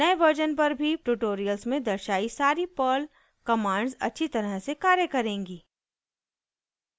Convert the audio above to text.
नए वर्जन पर भी ट्यूटोरियल्स में दर्शायी सारी पर्ल कमांड्स अच्छी तरह से कार्य करेंगी